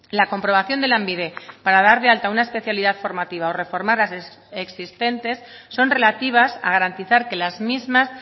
la comprobación de lanbide para dar de alta una especialidad formativa o reformar las existentes son relativas a garantizar que las mismas